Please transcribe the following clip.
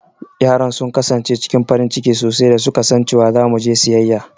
Yaran sun kasance cikin farin ciki sosai da su ka san cewa za mu je siyayya.